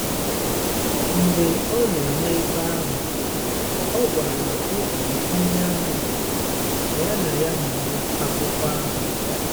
Mgbe ọ nọ ebe ahụ, ọ gwara otu Onyeàmà ka ya na ya mụọ akwụkwọ ahụ.